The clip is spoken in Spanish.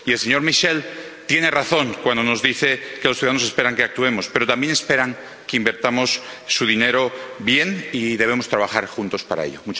El señor Michel tiene razón cuando nos dice que los ciudadanos esperan que actuemos, pero también esperan que invirtamos su dinero bien, y debemos trabajar juntos para ello.